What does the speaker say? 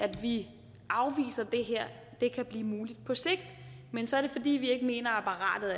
vi afviser at det her kan blive muligt på sigt men så er det fordi vi ikke mener at apparatet